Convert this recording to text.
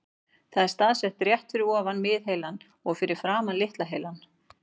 Það er staðsett rétt fyrir ofan miðheilann og fyrir framan litla heilann.